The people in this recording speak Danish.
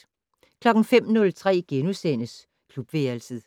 05:03: Klubværelset